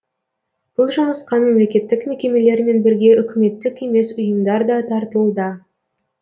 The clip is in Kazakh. бұл жұмысқа мемлекеттік мекемелермен бірге үкіметтік емес ұйымдар да тартылуда